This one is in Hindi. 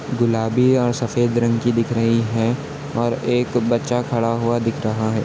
--गुलाबी और सफेद रंग की दिख रही है और एक बच्चा खड़ा हुआ दिख रहा है।